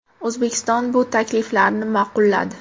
O‘zbekiston bu takliflarni ma’qulladi.